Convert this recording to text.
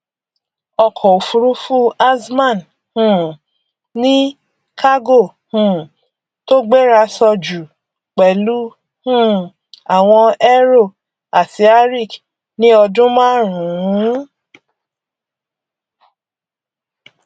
ọkọ òfúrufú azman um ní kágò um tó gbérasọ jù pẹlú um àwọn aero àti arik ní ọdún márùnún